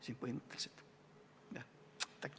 Kert Kingo, palun!